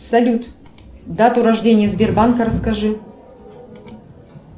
салют дату рождения сбербанка расскажи